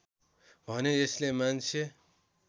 भने यसले मान्छे